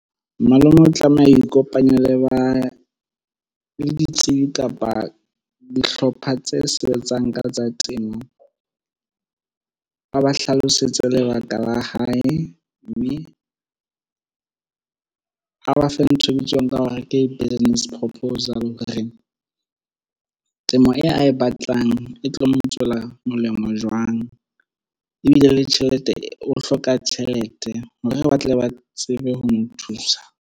Malome o tlameha ho ikopanya le ba le ditsibi kapa dihlopha tse sebetsang ka tsa temo ba ba hlalosetse lebaka la hae mme a bafe ntho e ke tsebang ka ho re ke business proposal re temo e a e batlang e tlo mo tswela molemo jwang ebile le tjhelete o hloka tjhelete hore re batle ba tsebe ho mo thusa.